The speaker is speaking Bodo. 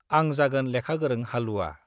आं जागोन लेखा गोरों हालुवा।